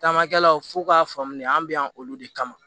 Tamakɛlaw fu k'a faamu de an be yan olu de kama